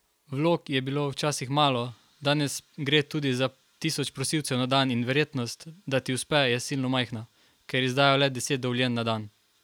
Vlog je bilo včasih malo, danes gre tudi za tisoč prosilcev na dan in verjetnost, da ti uspe, je silno majhna, ker izdajo le deset dovoljenj na dan.